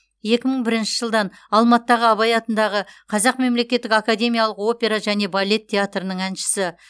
екі мың бірінші жылдан алматыдағы абай атындағы қазақ мемлекеттік академиялық опера және балет театрының әншісі